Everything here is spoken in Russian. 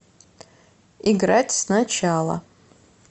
играть сначала